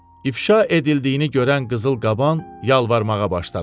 İfşa edildiyini görən qızıl qaban yalvarmağa başladı.